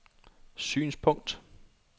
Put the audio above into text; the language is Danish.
synspunkt